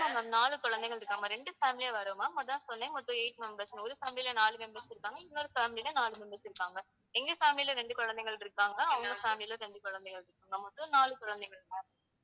ஆமா ma'am நாலு குழந்தைகள் இருக்காங்க ma'am. இரண்டு family யா வர்றோம் ma'am அதான் சொன்னேன் மொத்தம் eight members ன்னு. ஒரு family ல நாலு members இருக்காங்க. இன்னொரு family ல நாலு members இருக்காங்க. எங்க family ல இரண்டு குழந்தைகள் இருக்காங்க. அவங்க family ல இரண்டு குழந்தைகள் இருக்காங்க. மொத்தம் நாலு குழந்தைகள் ma'am.